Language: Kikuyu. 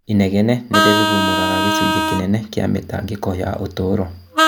Inegene nĩirurumũraga gĩcunjĩ kĩnene kĩa mĩtangĩko ya ũtũũro